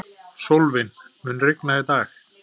Sólvin, mun rigna í dag?